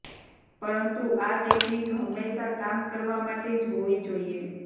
પરંતુ આ ટેકનિક હંમેશા કામ કરવા માટે જ હોવી જોઈએ